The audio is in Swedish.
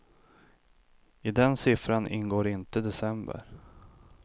I den siffran ingår inte december.